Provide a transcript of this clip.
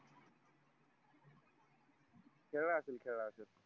खेळा असेल खेळा असेल